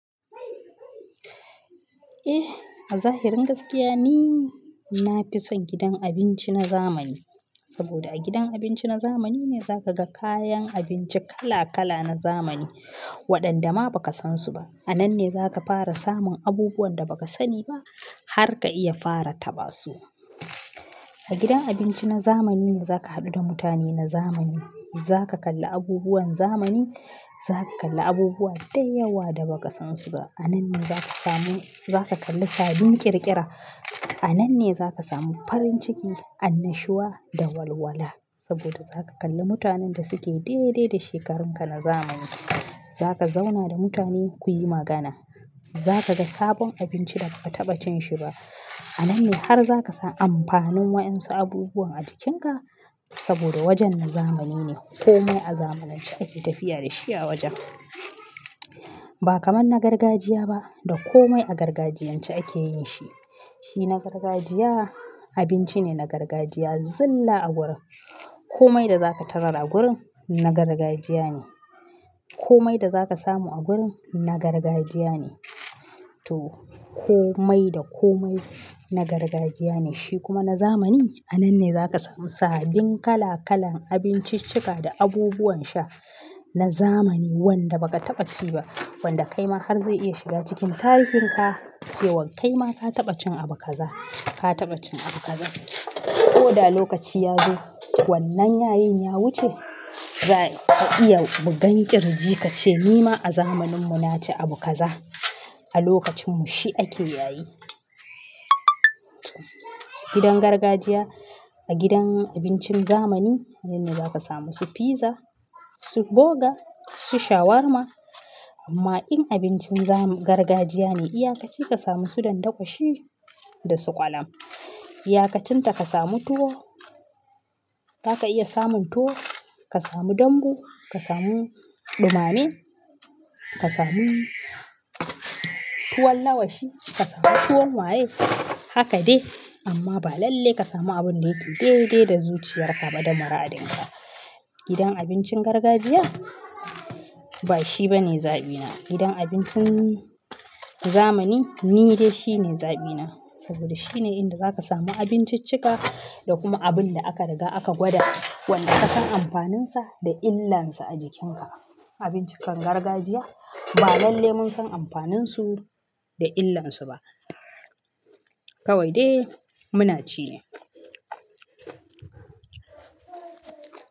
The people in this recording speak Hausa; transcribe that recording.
Eh a zahirin gaskiya ni na fi son gidan abinci na zamani, saboda a gidan abinci na zamani ne zaka ga kayan abinci kala-kala na zamani waɗanda ma baka san su ba. A nan ne za ka fara samun abubuwan da baka sani ba har ka iya fara taba su. A gidan abinci na zamani ne za ka haɗu da mutane na zamani, za ka kalla abubuwan zamani, za ka kalla abubuwa da yawa da baka san su ba. A nan ne za ka samu, za ka kalla sabbin ƙirƙira, a nan ne za ka samu farin ciki, annashuwa da walwala. Saboda za ka kalla mutanen da suke daidai da shekarun ka na zamani. Za ka zauna da mutane kuyi magana. Za ka ga sabon abinci da ba ka taɓa cin shi ba. A nan ne har za ka san amfanin wasu abubuwan a jikin ka saboda wajen na zamani ne. Komai a zamanance ake tafiya da shi a wajen. Ba kamar na gargajiya ba da komai a gargajiyance ake yin shi. Shi na gargajiya abinci ne na gargajiya. Zilla a gurin, komai da za ka tarar a gurin na gargajiya ne. Komai da za ka samu a gurin na gargajiya ne. To komai da komai na gargajiya ne. Shi kuma na zamani a nan ne za ka samu sabbin kala-kalan abinciccika da abubuwan sha na zamani wanda baka taɓa ci ba wanda kaima har zai iya shiga cikin tarihin ka cewa kaima ka taɓa cin abu kaza, ka taɓa cin abu kaza. Ko da lokaci ya zo wannan yayin ya wuce za ka iya bugan kirji ka ce nima a zamanin mu na ci abu kaza. A lokacin mu shi ake yayi. Gidan gargajiya a gidan abincin zamani nan ne za ka samu su fiza, su burger, su shawarma amma in abincin zam, gargajiya ne iyakaci ka samu su ɗandako shi da su ƙwalam. Iyakacin ta ka samu tuwo. Za ka iya samun tuwo, ka samu dambu, ka samu ɗumame, ka samu tuwon lawashi, ka samu tuwon waye haka dai amma ba lalle ka samu abin da yake daidai da zuciyar ka da maradin ka. Gidan abincin gargajiya ba shi bane zaɓina. Gidan abincin zamani ni dai shi ne zaɓina saboda shine inda za ka samu abinciccika da kuma abin da aka riga aka gwada wanda ka san amfanin sa da illan sa a jikin ka. Abinciccikan gargajiya ba lalle mun san amfanin su da illan su ba. Kawai dai muna ci ne.